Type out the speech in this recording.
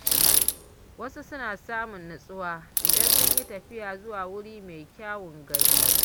Wasu suna samun natsuwa idan sun yi tafiya zuwa wuri mai kyawun gani.